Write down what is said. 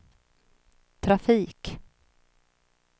trafik